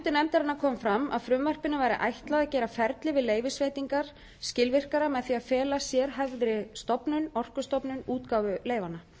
fundum nefndarinnar kom fram að frumvarpinu væri ætlað að gera ferli við leyfisveitingar skilvirkara með því að fela sérhæfðri stofnun orkustofnun útgáfu leyfanna